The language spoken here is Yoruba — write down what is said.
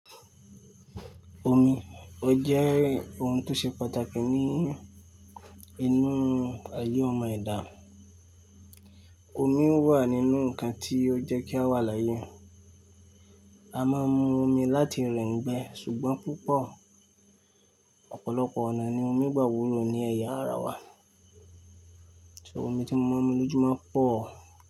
Omi, ó jẹ́ oun tó ṣe pàtàkì ní inú ayé ọmọ ẹ̀dà. Omi wà nínú ǹkan tí ó jẹ́ kí a wà láyé. A máa ń mu omi láti rẹ n gbẹ, ṣùgbọ́n púpọ̀ ọ̀pọ̀lọpọ̀ ọ̀nà ni omi gbà wulọ ní ẹ̀yà ara wa. So omi tí mo ma n mu lójú mọ́ pọ̀.